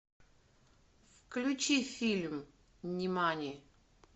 включи фильм нимани